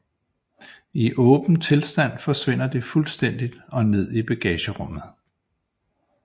I åben tilstand forsvinder det fuldstændigt og ned i bagagerummet